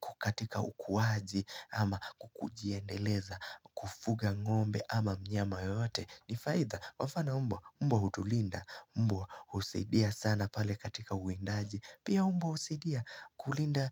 kukatika ukuwaji Ama kukujiendeleza kufuga ngombe ama mnyama yote Nifaitha kwamfano umbo umbwa hutulinda umbo usidia sana pale katika uindaji Pia umbo usidia kulinda